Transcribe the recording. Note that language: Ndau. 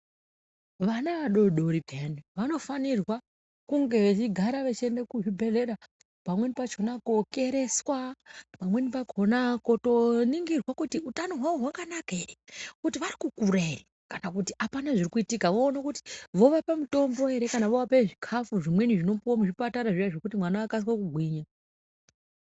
Vana vadori-dori pheyani, vanofanirwa kunge vechigara vechienda kuzvibhedhlera pamweni pachona kokereswa, pamweni pakona kotoningirwa kuti utano hwawo hwakanaka ere, kuti vari kukura ere kana kuti hapana zviri kuitika. Voone kuti vovape mutombo ere kana vovape zvikafu zvimweni zvinopuwa muzvipatara zviya zvekuti mwana akasike kugwinya.